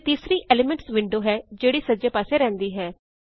ਅਤੇ ਤੀਸਰੀ elements window ਹੈ ਜਿਹੜੀ ਸੱਜੇ ਪਾਸੇ ਰਹਿਂਦੀ ਹੈ